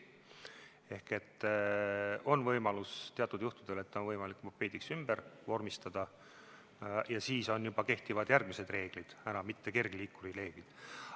Ehk on võimalus teatud juhtudel mopeediks ümber vormistada ja siis juba kehtivad järgmised reeglid, enam mitte kergliikuri reeglid.